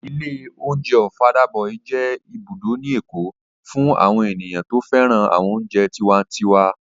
Ilé oúnjẹ Ọ̀fadà boy jẹ́ ibùdó ní èkó fún àwọn ènìyàn tó féràn àwọn oúnjẹ tiwantiwa